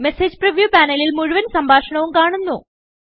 message preview panelൽ മുഴുവൻ സംഭാഷണവും കാണുന്നു